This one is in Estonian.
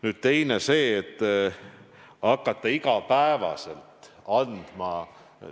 Nüüd teine teema – see, et hakata iga päev infot andma.